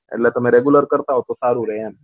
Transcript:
એટલે તમે regular કરતા હોય તો સારું રહે એમ